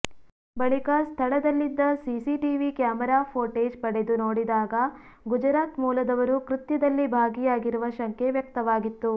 ಬಳಿಕ ಸ್ಥಳದಲ್ಲಿದ್ದ CCTV camera footage ಪಡೆದು ನೋಡಿದಾಗ ಗುಜರಾತ್ ಮೂಲದವರು ಕೃತ್ಯದಲ್ಲಿ ಭಾಗಿಯಾಗಿರುವ ಶಂಕೆ ವ್ಯಕ್ತವಾಗಿತ್ತು